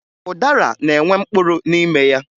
Ụdara na-enwe mkpụrụ n'ime ya